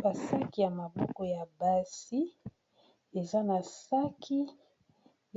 Ba saki ya maboko ya basi eza na saki